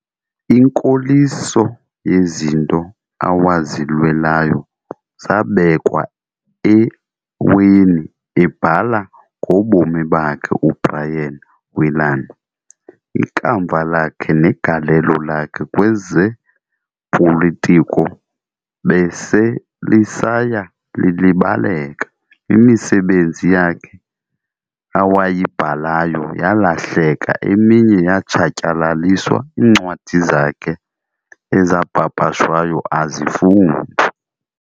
"Inkoliso yezinto awazilwelayo zabekwa eweni," ebhala ngobomi bakhe uBrian Willan, "Ikamva lakhe negalelo lakhe kwezepolitiko beselisaya lilibaleka, imisebenzi yakhe awayibhalayo yaalahleka eminye yatshatyalaliswa, iincwadi zakhe ezapapashwayo azifundwa.